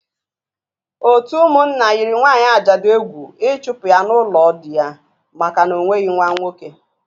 Ótú ụmụnna yiri nwaanyị ajadu egwu ịchụpụ ya n'ụlọ di ya maka na o nweghị nwa nwoke